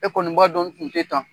Ekɔni b'a don n tun tɛ tan